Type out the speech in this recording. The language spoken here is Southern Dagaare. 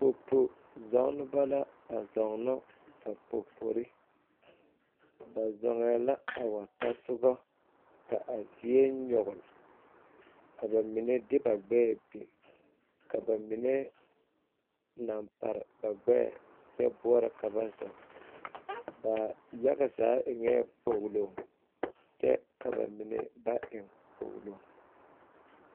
Popo zɔɔneba la a zɔɔnɔ ba popori zɔɔŋɛɛ la a wa tasoga ka a zie nyɔgle ka ba mine de ba gbɛɛ biŋ ka ba mine laŋ pare ba gbɛɛ kyɛ boɔrɔ ka zɔɔ ba yaga zaa eŋɛɛ kpoglo kyɛ ka ba mine ba eŋ kpoglo.